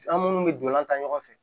An munnu bɛ donlan ta ɲɔgɔn fɛ